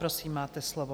Prosím, máte slovo.